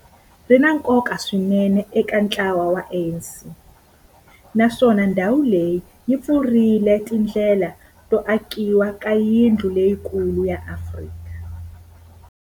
Ri na nkoka swinene eka ntlawa wa ANC, naswona ndhawu leyi yi pfurile tindlela to akiwa ka yindlu leyikulu ya Afrika.